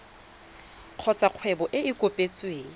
kgotsa kgwebo e e kopetsweng